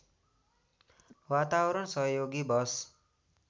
वातावरण सहयोगी बस